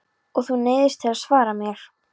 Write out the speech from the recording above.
Og þú neyðist til að svara mér.